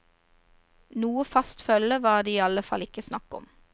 Noe fast følge var det i alle fall ikke snakk om.